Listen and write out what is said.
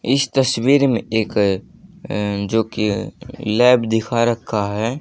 इस तस्वीर में एक अह जो कि लैब दिखा रखा है।